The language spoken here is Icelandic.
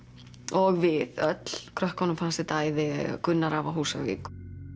og við öll krökkunum fannst þetta æði Gunnar afi á Húsavík